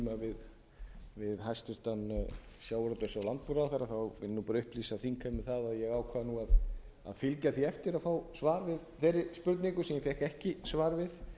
hæstvirtum sjávarútvegs og landbúnaðarráðherra vil ég bara upplýsa þingheim um það að ég ákvað að fylgja því eftir að fá svar við þeirri spurningu sem ég fékk ekki svar við